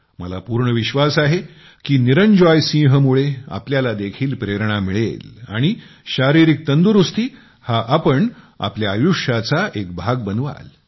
मला पूर्ण विश्वास आहे की निरंजॉय सिंहमुळे आपल्याला देखील प्रेरणा मिळेल आणि शारीरिक तंदुरुस्ती हा आपण आपल्या आयुष्याचा एक भाग बनवाल